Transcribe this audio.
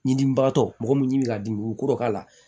Ɲidimibagatɔ mɔgɔ bɛ ɲini ka dimi u kɔrɔbaya la